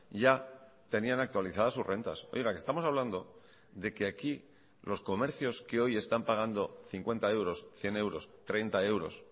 ya tenían actualizadas sus rentas oiga que estamos hablando de que aquí los comercios que hoy están pagando cincuenta euros cien euros treinta euros